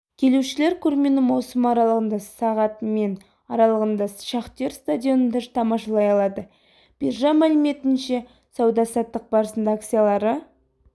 келушілер көрмені маусым аралығында сағат мен аралығында шахтер стадионында тамашалай алады биржа мәліметінше сауда-саттық барысында акциялары